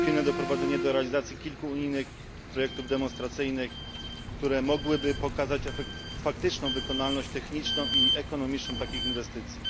pilne doprowadzenie do realizacji kilku unijnych projektów demonstracyjnych, które mogłyby pokazać faktyczną wykonalność techniczną i ekonomiczną takich inwestycji.